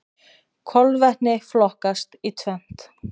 Kolvetni flokkast í tvennt.